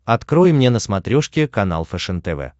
открой мне на смотрешке канал фэшен тв